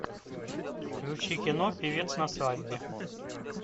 включи кино певец на свадьбе